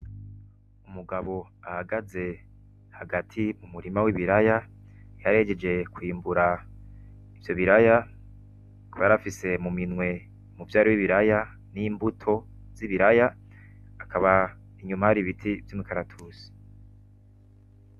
Umugabo ahagaze hagati mu murima w'ibiraya, yarahejeje kwimbura ivyo biraya akaba yarafise mu minwe umuvyaro w'ibiraya n'imbuto z'ibiraya akaba inyuma hari ibiti vy'umukaratusi.